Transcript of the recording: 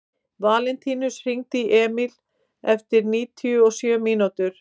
Valentínus, hringdu í Emíl eftir níutíu og sjö mínútur.